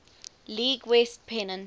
league west pennant